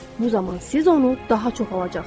Bu zaman siz onu daha çox alacaqsınız.